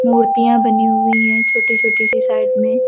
मूर्तियां बनी हुई है छोटी छोटी सी साइड में।